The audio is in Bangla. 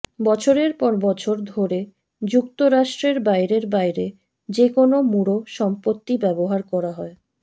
বছরের পর বছর ধরে যুক্তরাষ্ট্রের বাইরের বাইরে যে কোন মূঢ় সম্পত্তি ব্যবহার করা হয়